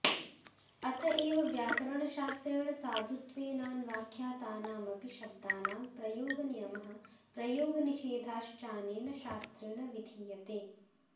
अतएव व्याकरणशास्त्रेण साधुत्वेनान्वाख्यातानामपि शब्दानां प्रयोगनियमः प्रयोगनिषेधश्चानेन शास्त्रेण विधीयते